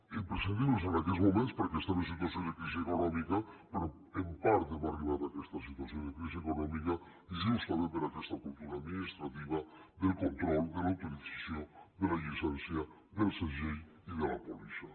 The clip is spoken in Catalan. imprescindible en aquests moments perquè estem en situació de crisi econòmica però en part hem arribat a aquesta situació de crisi econòmica justament per aquesta cultura administrativa del control de l’autorització de la llicència del segell i de la pòlissa